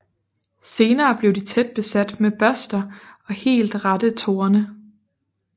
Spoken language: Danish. Senere bliver de tæt besat med børster og helt rette torne